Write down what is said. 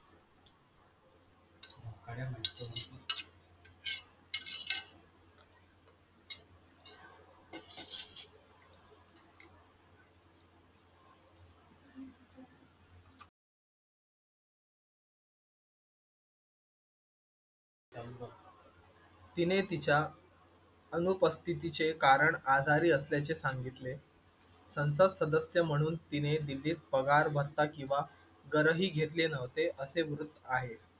तिने तिच्या अनुपस्थितीचे कारण आजारी असल्याचे सांगितले. संसद सदस्य म्हणून तिने दिल्लीत पगार, भत्ता किंवा घरही घेतले नव्हते असे वृत्त आहे.